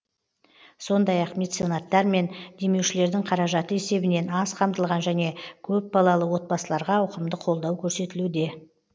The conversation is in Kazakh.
сондай ақ меценаттар мен демеушілердің қаражаты есебінен аз қамтылған және көпбалалы отбасыларға ауқымды қолдау көрсетілуде